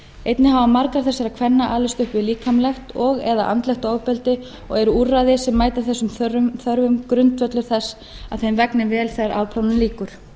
einnig hafa margar þessara kvenna alist upp við líkamlegt og eða andlegt ofbeldi og eru úrræði sem ætla þessum þörfum grundvöllur þess að þeim vegni vel þegar afplánun lýkur